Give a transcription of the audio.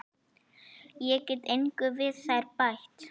Ég get engu við þær bætt.